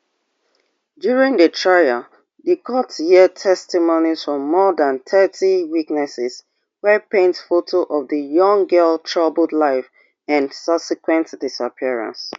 during di trial di court hear testimonies from more dan thirty witnesses wey paint foto of di young girl troubled life and subsequent disappearance